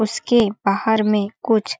उसके बाहर में कुछ--